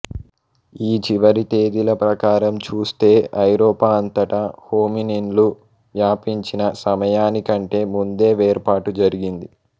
ఈ చివరి తేదీల ప్రకారం చూస్తే ఐరోపా అంతటా హోమినిన్లు వ్యాపించిన సమయాని కంటే ముందే వేర్పాటు జరిగింది